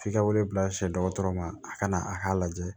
F'i ka wele bila se dɔgɔtɔrɔ ma a kana a k'a lajɛ